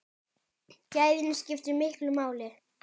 Gæðin skiptu miklu máli.